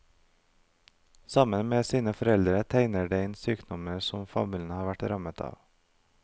Sammen med sine foreldre tegner de inn sykdommer som familien har vært rammet av.